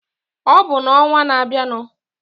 Ọ bụ n'ọnwa na-abịanu.